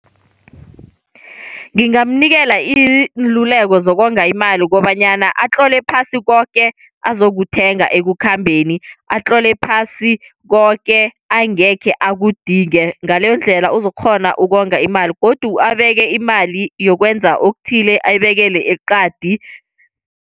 Ningamnikela iinluleko zokonga imali kobanyana atlole phasi koke azokuthenga ekhambeni. Atlole phasi koke angekhe akudinge, ngaleyondlela uzokukghona ukonga imali, godu abeke imali yokwenza okuthile ayibekele eqadi.